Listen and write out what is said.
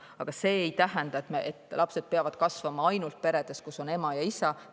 Aga see ei tähenda, et lapsed peavad kasvama ainult sellises peres, kus on ema ja isa.